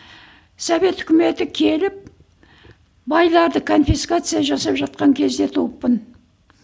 совет өкіметі келіп байларды конфискация жасап жатқан кезде туыппын